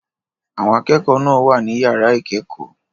Àwọn akẹ́kọ̀ọ́ náà wà ní yàrá ìkẹ́kọ̀ọ́.